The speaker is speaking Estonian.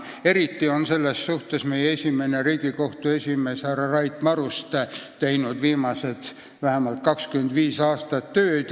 Eriti on selles suunas vähemalt 25 aastat tööd teinud meie esimene Riigikohtu esimees Rait Maruste.